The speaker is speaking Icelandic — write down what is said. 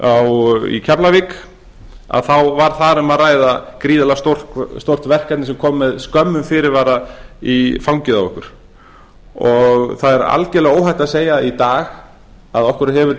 í keflavík var þar um að ræða gríðarlega stórt verkefni sem kom með skömmum fyrirvara í fangið á okkur það er algjörlega óhætt að segja í dag að okkur hefur